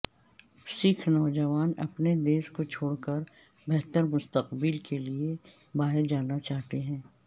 سکھ نوجوان اپنے دیس کو چھوڑ کر بہتر مستقبل کے لئے باہر جانا چاہتے ہیں